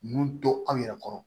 Ninnu to anw yɛrɛ kɔrɔ